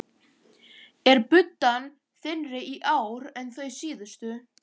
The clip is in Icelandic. Er buddan þynnri í ár en þau síðustu?